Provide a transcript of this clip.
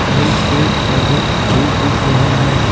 कई पेड़-पौधे भी दिख रहे हैं।